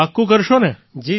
પાકું કરશો ને